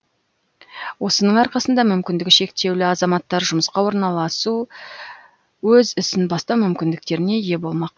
осының арқасында мүмкіндігі шектеулі азаматтар жұмысқа орналасу өз ісін бастау мүмкіндіктеріне ие болмақ